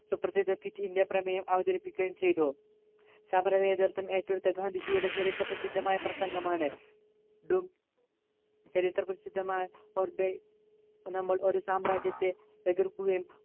സുപ്രസിദ്ധ quit India പ്രമേയം അവതരിപ്പിക്കുകയും ചെയ്തു സഫല നേതൃത്വം ഏറ്റെടുത്ത ഗാന്ധിജിയുടെ ചരിത്ര പ്രസിദ്ധമായ പ്രസംഗമാണ് do ചരിത്രപ്രസിദ്ധമായ or die നമ്മൾ ഒരു സാമ്രാജ്യത്തെ എതിർക്കുകയും